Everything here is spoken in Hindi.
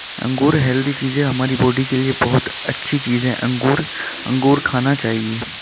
अंगूर हैल्दी चीज है हमारी बॉडी के लिए बोहोत अच्छी चीज है अंगूर। अंगूर खाना चाहिए।